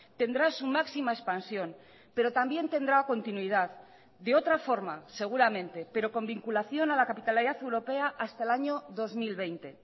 tendrá su máxima expansión pero también tendrá continuidad de otra forma seguramente pero con vinculación a la capitalidad europea hasta el año dos mil veinte